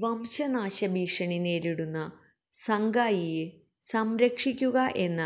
വംശനാശഭീഷണി നേരിടുന്ന സംഗായിയെ സംരക്ഷിക്കുക എന്ന